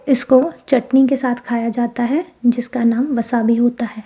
इसको चटनी के साथ खाया जाता है जिसका नाम वसा भी होता है।